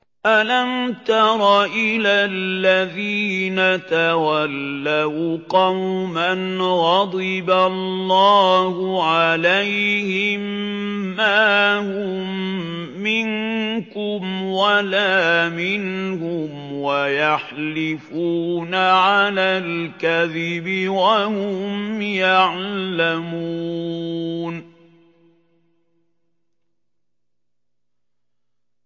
۞ أَلَمْ تَرَ إِلَى الَّذِينَ تَوَلَّوْا قَوْمًا غَضِبَ اللَّهُ عَلَيْهِم مَّا هُم مِّنكُمْ وَلَا مِنْهُمْ وَيَحْلِفُونَ عَلَى الْكَذِبِ وَهُمْ يَعْلَمُونَ